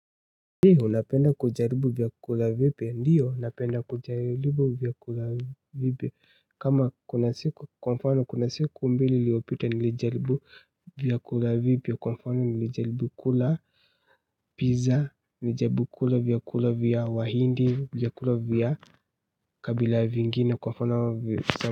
Je, unapenda kujaribu vyakula vipya? Ndio, napenda kujaribu vyakula vipya kama kuna siku, kwa mfano kuna siku mbili iliopita nilijaribu, vyakula vipya, kwa mfano nilijaribu kula, pizza, nilijaribu kula vyakula vya wahindi, vyakula vya kabila vingine kwa mfano,